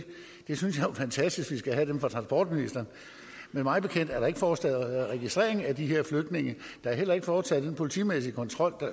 fantastisk at vi skal have dem fra transportministeren men mig bekendt er der ikke foretaget registrering af de her flygtninge der er heller ikke foretaget den politimæssige kontrol